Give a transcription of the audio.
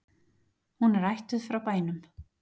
Hún er ættuð frá bænum